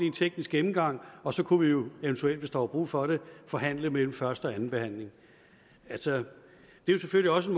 en teknisk gennemgang og så kunne vi jo eventuelt hvis der var brug for det forhandle mellem første og andenbehandlingen altså det er selvfølgelig også